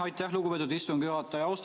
Aitäh, lugupeetud istungi juhataja!